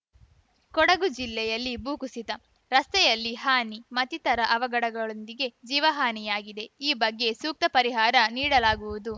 ಕೊಡಗು ಜಿಲ್ಲೆಯಲ್ಲಿ ಭೂಕುಸಿತ ರಸ್ತೆಯಲ್ಲಿ ಹಾನಿ ಮತ್ತಿತರ ಅವಘಡದೊಂದಿಗೆ ಜೀವಹಾನಿಯಾಗಿದೆ ಈ ಬಗ್ಗೆ ಸೂಕ್ತ ಪರಿಹಾರ ನೀಡಲಾಗುವುದು